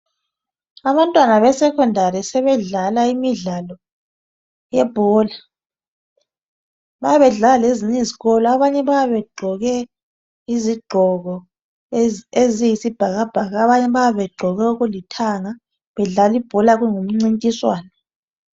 Abantwana be secondary sebedlala imidlalo yebhola. Bayabe bedlala lezinye izikolo abanye bayabe begqoke izigqoko eziyisibhakabhaka abanye bayabe begqoke okulithanga bedlala ibhola kungumncintiswano.